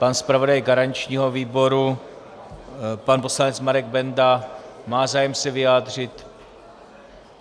Pan zpravodaj garančního výboru, pan poslanec Marek Benda má zájem se vyjádřit?